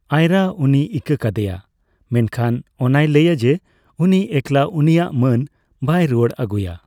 ᱟᱭᱨᱟ ᱩᱱᱤᱭ ᱤᱠᱟᱹ ᱠᱟᱫᱮᱭᱟ ᱢᱮᱱᱠᱷᱟᱱ ᱚᱱᱟᱭ ᱞᱟᱹᱭᱼᱟ ᱡᱮ ᱩᱱᱤ ᱮᱠᱞᱟ ᱩᱱᱤᱭᱟᱜ ᱢᱟᱹᱱ ᱵᱟᱭ ᱨᱩᱣᱟᱹᱲ ᱟᱹᱜᱩᱭᱟ ᱾